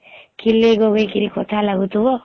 ଖିଲେ ଗଵିକିରି କଥା ଲାଗୁଥିବ